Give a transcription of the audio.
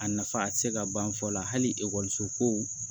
A nafa ti se ka ban fɔ la hali so ko